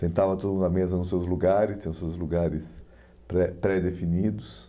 Sentava todo mundo na mesa nos seus lugares, nos seus lugares pré pré-definidos.